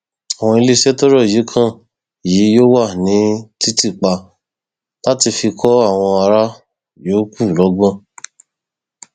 àwọn iléeṣẹ tọrọ yìí kan yìí yóò wà ní títì pa láti lè fi kọ àwọn ará yòókù lọgbọn